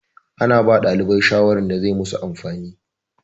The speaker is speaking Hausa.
Ana ba ɗalibai shawarwari da zai masu amfani.